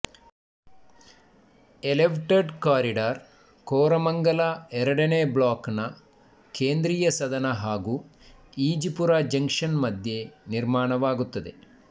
elevated corridor Koramangala ಎರಡನೇ block ನ ಕೇಂದ್ರೀಯ ಸದನ ಹಾಗೂ ಈಜಿಪುರ ಜಂಕ್ಷನ್ ಮಧ್ಯೆ ನಿರ್ಮಾಣವಾಗುತ್ತದೆ